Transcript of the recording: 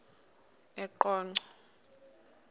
eqonco